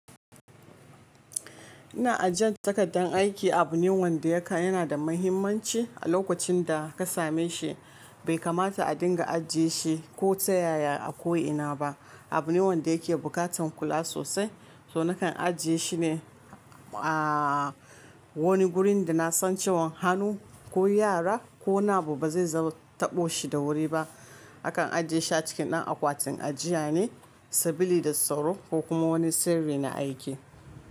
Ina ajiye takardar aiki a abune wanda yana da mahimmanci a lokacin da ka same shi. Bai kamata a dinga ajiye shi ko ta yaya a ko ina ba. Abune wanda yake buƙatar kula sosai, so nakan ajiye shi ne a wani gurin da na san cewan hannu ko yara ko nabo ba zai zaɓo taɓo shi da wuri ba. Akan ajiye shi a cikin ɗan akwatin ajiya ne, sabili da sauro ko kuma wani sirri na aiki.